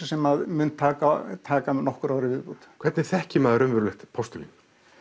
sem mun taka taka nokkur ár í viðbót hvernig þekkir maður raunverulegt postulín